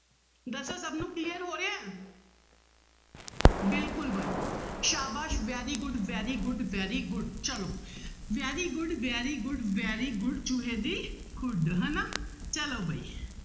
ਦੱਸੋ ਸਭ ਨੂੰ clear ਹੋ ਰਿਹਾ ਹੈ ਬਿਲਕੁਲ ਬਾਈ ਸਾਬਾਸ਼ very good very good very good ਚਲੋ very good very good very good ਚੂਹੇ ਦੀ ਖੁੱਡ ਹਨਾ ਚਲੋ ਬਾਈ